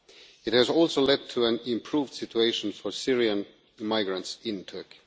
It has also led to an improved situation for Syrian migrants in Turkey.